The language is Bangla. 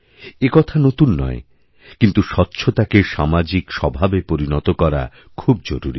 একথা নতুন নয়কিন্তু স্বচ্ছতাকে সামাজিক স্বভাবে পরিণত করা খুব জরুরী